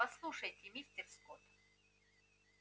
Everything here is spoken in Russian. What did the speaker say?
послушайте мистер скотт